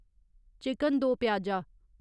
chicken do pyaza